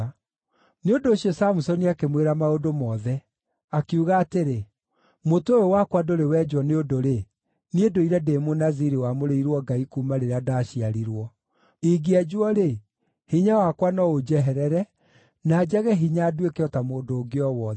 Nĩ ũndũ ũcio Samusoni akĩmwĩra maũndũ mothe. Akiuga atĩrĩ, “Mũtwe ũyũ wakwa ndũrĩ wenjwo nĩ ũndũ-rĩ, niĩ ndũire ndĩ Mũnaziri wamũrĩirwo Ngai kuuma rĩrĩa ndaciarirwo. Ingĩenjwo-rĩ, hinya wakwa no ũnjeherere, na njage hinya nduĩke o ta mũndũ ũngĩ o wothe.”